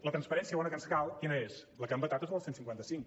la transparència bona que ens cal quina és la que han vetat els del cent i cinquanta cinc